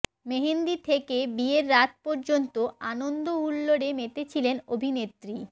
মেহেন্দি থেকে বিয়ের রাত পর্যন্ত আনন্দ হুল্লোড়ে মেতেছিলেন অভিনেত্রী